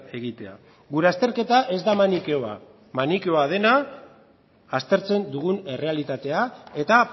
egitea gure azterketa ez da manikeoa manikeoa dena aztertzen dugun errealitatea eta